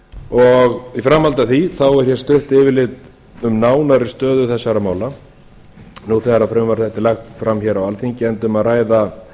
svæðinu í framhaldi af því er stutt yfirlit um nánari stöðu þessara mála núna þegar frumvarp þetta er lagt fram á alþingi er um að ræða